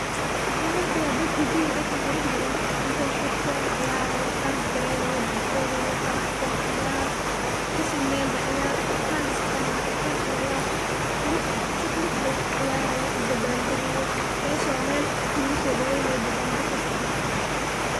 Waxan arkiya dad hidalgo iyo dhaqan qurux badan intay xirteen ciyaarayo, dansgareynayo, badboodayo, faraxsan ciyaar kashidne ba ciyaarta kale iska arag kal iyo lab, qurux si qurux badan u ciyaara u dabal dagayo, mesh waa mel dabal deg kasocdo